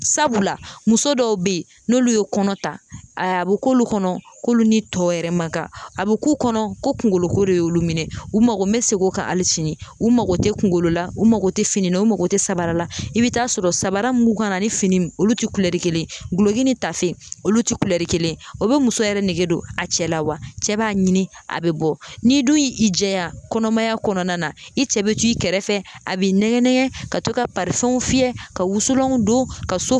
Sabula muso dɔw be yen n'olu ye kɔnɔ ta ayi a be k'olu kɔnɔ k'olu ni tɔw yɛrɛ maka a be k'u kɔnɔ ko kungoloko de y'olu minɛ u mago n be segin o kan ali sini u mago te kungolo la u mago te fini na u mago te sabara la i bi t'a sɔrɔ mun b'u kan na ani fini olu te kulɛri kelen ye guloki ni tafe olu te kulɛri kelen ye o be muso yɛrɛ nege don a cɛ la wa cɛ b'a ɲini a be bɔ n'i dun y'i jɛ ya kɔnɔmaya kɔnɔna na i cɛ be t'i kɛrɛfɛ a be i nɛgɛn nɛgɛn ka to ka parifɛnw fiyɛ ka wusulanw don ka so